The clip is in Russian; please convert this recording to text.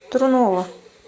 трунова